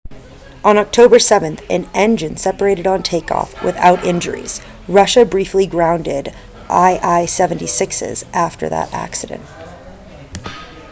on october 7 an engine separated on takeoff without injuries russia briefly grounded il-76s after that accident